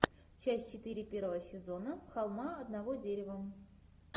часть четыре первого сезона холма одного дерева